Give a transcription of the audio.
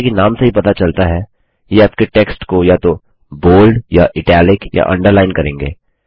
जैसा कि नाम से ही पता चलता है ये आपके टेक्स्ट को या तो बोल्ड या इटालिक या अंडरलाइंड करेंगे